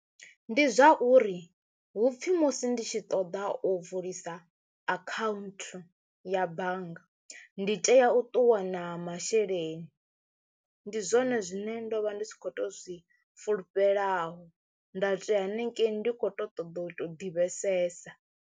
Ndi zwauri hupfhi musi ndi tshi ṱoḓa u vulisa akhaunthu ya bannga ndi tea u ṱuwa na masheleni ndi zwone zwine ndo vha ndi tshi kho to zwi fulufhedzeaho nda toya hanengei ndi kho to ṱoḓa u to ḓivhesesa.